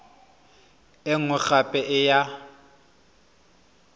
e nngwe gape e ya